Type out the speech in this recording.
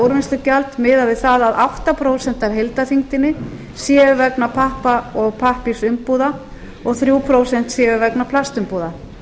úrvinnslugjald miðað við það að átta prósent af heildarþyngdinni séu vegna pappa og pappírsumbúða og þrjú prósent séu vegna plastumbúða